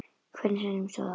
Hvernig sem á stóð.